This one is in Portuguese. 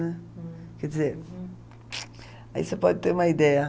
Né. Quer dizer, aí você pode ter uma ideia.